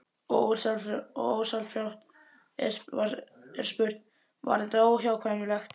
Og ósjálfrátt er spurt: Var þetta óhjákvæmilegt?